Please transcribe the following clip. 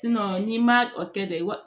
n'i ma o kɛ dɛ